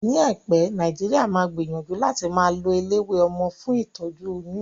Ní àìpé, Nàìjíríà máa gbìyànjú láti máa lo eléwé ọmọ fún ìtọ́jú oyún